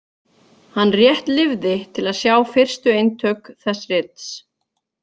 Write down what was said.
Hann rétt lifði til að sjá fyrstu eintök þess rits.